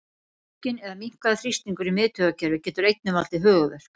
Aukinn eða minnkaður þrýstingur í miðtaugakerfi getur einnig valdið höfuðverk.